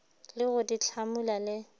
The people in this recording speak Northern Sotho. le go di hlamula le